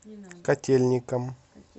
котельникам